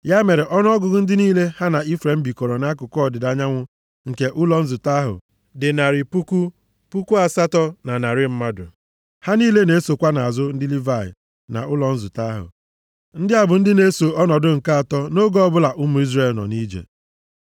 Ya mere ọnụọgụgụ ndị niile ha na Ifrem bikọrọ nʼakụkụ ọdịda anyanwụ nke ụlọ nzute ahụ dị narị puku, puku asatọ na narị mmadụ (108,100). Ha niile na-esokwa nʼazụ ndị Livayị na ụlọ nzute ahụ. Ndị a bụ ndị na-eso nʼọnọdụ nke atọ nʼoge ọbụla ụmụ Izrel nọ nʼije.